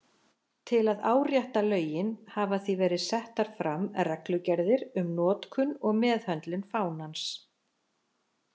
Til að árétta lögin hafa því verið settar fram reglugerðir um notkun og meðhöndlun fánans.